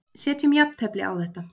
Setjum jafntefli á þetta.